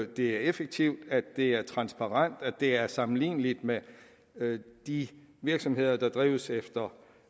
det er effektivt at det er transparent at det er sammenligneligt med de virksomheder der drives efter